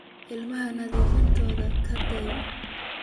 Illahey naftisa kaatey.